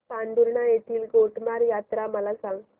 पांढुर्णा येथील गोटमार यात्रा मला सांग